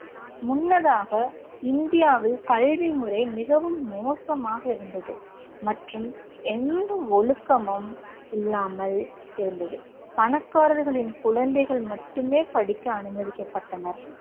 முன்னதாக இந்தியாவில் கல்வி முறை மிகவும் மோசமாக இருந்தது மற்றும் எந்த ஒழுக்கமும் இல்லாமல் இருந்தது. பணக்காரர்களின் குழந்தைகள் மட்டுமே படிக்க அனுமதிக்கப்பட்டனர்.